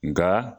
Nka